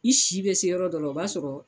I si bɛ se yɔrɔ dɔ la o b'a sɔrɔ.